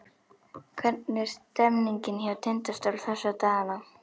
Hvernig er stemningin hjá Tindastól þessa dagana?